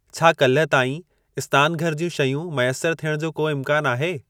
छा काल्ह ताईं स्नानुघरु ज्यूं शयूं मैसर थियण जो को इम्कान आहे?